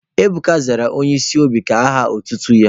Ebuka zara Onye isi obi ka aha otutu ya.